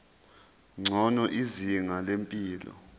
ngcono izinga lempilo